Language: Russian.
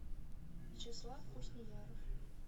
вячеслав хуснияров